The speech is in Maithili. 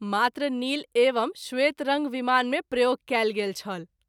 मात्र नील एवं श्वेत रंग विमान मे प्रयोग कएल गेल छल।